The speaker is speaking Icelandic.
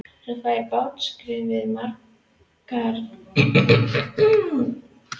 Svo fær hann bátskriflið margborgað hjá vátryggingunni.